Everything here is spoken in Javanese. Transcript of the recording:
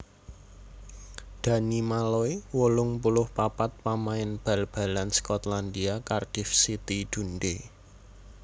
Danny Malloy wolung puluh papat pamain bal balan Skotlandia Cardiff City Dundee